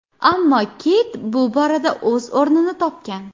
Ammo Keyt bu borada o‘z o‘rnini topgan.